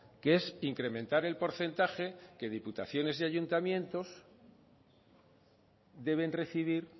que es incrementar el porcentaje que diputaciones y ayuntamientos deben recibir